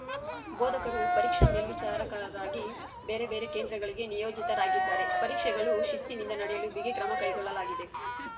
ಬೋಧಕರು ಪರೀಕ್ಷಾ ಮೇಲ್ವಿಚಾರಕರಾಗಿ ಬೇರೆ ಬೇರೆ ಕೇಂದ್ರಗಳಿಗೆ ನಿಯೋಜಿತರಾಗಿದ್ದಾರೆ ಪರೀಕ್ಷೆಗಳು ಶಿಸ್ತಿನಿಂದ ನಡೆಯಲು ಬಿಗಿ ಕ್ರಮ ಕೈಗೊಳ್ಳಲಾಗಿದೆ